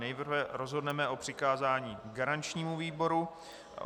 Nejprve rozhodneme o přikázání garančnímu výboru.